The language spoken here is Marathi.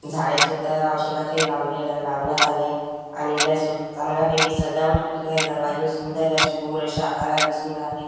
झाडे सुद्धा अशोकाचे लावले लावण्यात आले आणि लसूण चांगल्यापैकी सजावट केली दरवाजे सुंदर अशी गोल अशी आकारात दिसून राहिली.